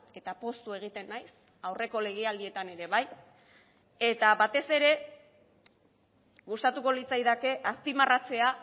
eta poztu egiten naiz aurreko legealdietan ere bai eta batez ere gustatuko litzaidake azpimarratzea